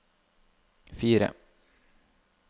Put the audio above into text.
fire